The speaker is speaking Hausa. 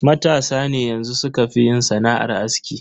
Matasa ne yanxu sukafi yin sana'ar aski.